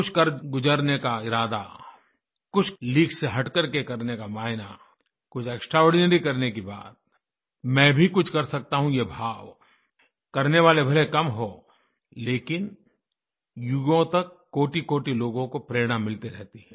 कुछ कर गुजरने का इरादा कुछ लीक से हटकर के करने का मायना कुछ एक्सट्रा आर्डिनरी करने की बात मैं भी कुछ कर सकता हूँ ये भावकरने वाले भले कम हों लेकिन युगों तक कोटिकोटि लोगों को प्रेरणा मिलती रहती है